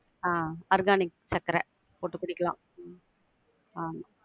ஆஹ் organic சக்கர போட்டு குடிக்கலாம் உம் ஆஹ்